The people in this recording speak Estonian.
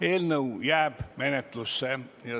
Eelnõu jääb menetlusse.